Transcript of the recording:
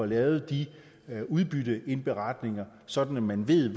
lavet de udbytteindberetninger sådan at man ved